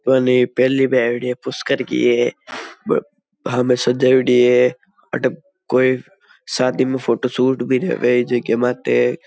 बने पहली बेबडी है पुस्कर की है में सजायेड़ी है अटे कोई शादी में फोटोशूट भी रेवे है जेके माते।